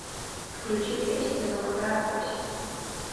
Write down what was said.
включи песня золотая осень